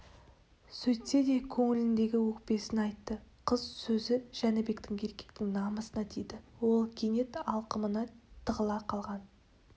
сөйтсе де көңілдегі өкпесін айтты қыз сөзі жәнібектің еркектік намысына тиді ол кенет алқымына тығыла қалған